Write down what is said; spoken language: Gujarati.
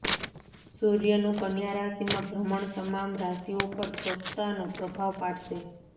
સૂર્યનું કન્યા રાશિમાં ભ્રમણ તમામ રાશિઓ પર પોતાનો પ્રભાવ પાડશે